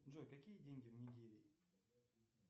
джой какие деньги в нигерии